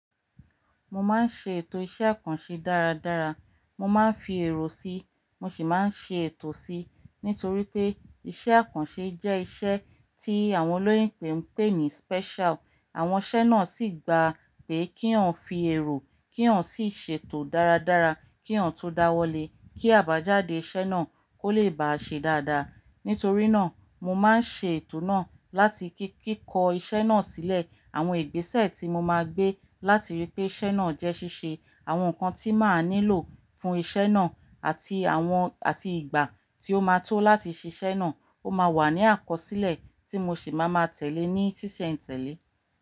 Mo máa ń ṣe ètò iṣẹ́ àkànṣe dáradára. Mo máa ń fi èrò síi, mo sì máa ń ṣe ètò si, nítorí pé iṣẹ́ àkànṣe jẹ́ iṣẹ́ tí àwọn olóyinbo n pé ní special. Àwọn iṣẹ́ náà sì gba pé kí èèyàn fi èrò, kí èèyàn sì ṣe ètò dáradára, kí èèyàn tó dáwọ́lé kí àbájáde iṣẹ́ náà kó lè bá ṣe dáadáa. Nítorí náà, mo máa ń ṣe ètò náà láti kíkọ iṣẹ́ náà sílẹ̀, àwọn ìgbésẹ̀ tí mo máa gbé láti rí pé iṣẹ́ náà jẹ ṣíṣe, àwọn nǹkan tí màá nílò fún iṣẹ́ náà àti àwọn, àti ìgbà tí ó máa tó láti ṣe iṣẹ́ náà ó máa wà ní àkọsílẹ̀ tí mo sì máa ma tẹ̀lé ní ṣíṣe n ìtẹ̀lé.